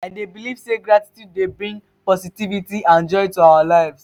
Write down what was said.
i dey believe say gratitude dey bring positivity and joy to our lives.